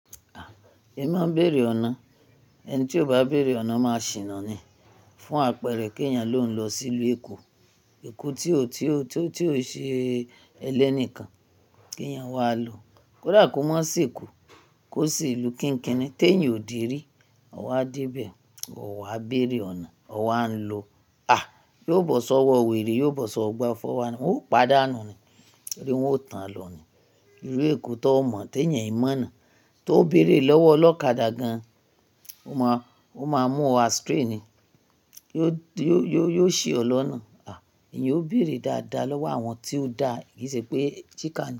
A! Èmi má n béèrè ọ̀nà. Ẹni tí ò bá béèrè ọ̀nà máa ṣìnà ni. Fún àpẹẹrẹ kí ẹ̀yàn ló ń lọ sí ìlú Èkó, Èkó tí ó, tí ó, tí ó ṣe ẹlẹ́ni kan kí ẹ̀yàn wá lọ. Kódà kó má se Èkó, kó sì ìlú kííkíìnì tí èèyàn ò dé rí, ọ wá dé ibẹ̀, o wá béèrè ọ̀nà, o wà á lọ. À! Yóò bọ̀ sọ́wọ́ wèrè, yóò bọ̀ sọ́wọ́ ọgbà 419, won o paa dà nù ni. Ẹ̀yin ó tán lọ ni. Irú Èkó tó mọ̀ tí ẹ̀yàn ò mọ̀ náà, tó béèrè lọ́wọ́ ọlọ́kadà gan, ó má, ó má mú ọ astray ni. Yóò, yóò, yóò ṣi ọ lọ́nà. À! Ẹ̀eyàn yóò béèrè dáadáa lọ́wọ́ àwọn tí ó dá ìṣe pé chicken.